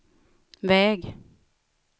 väg